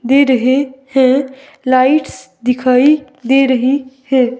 दे रहे है लाइट्स दिखाई दे रही है।